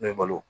N'i ye balo